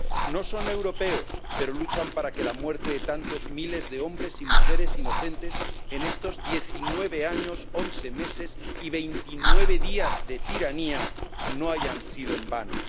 No son europeos, pero luchan para que la muerte de tantos miles de hombres y mujeres inocentes en estos 19 años, 11 meses y 29 días de tiranía no haya sido en vano.